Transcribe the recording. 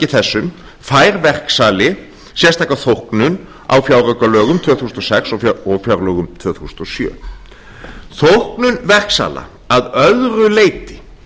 þessum fær verksali sérstaka þóknun á fjáraukalögum tvö þúsund og sex og fjárlögum tvö þúsund og sjö þóknun verksala að öðru leyti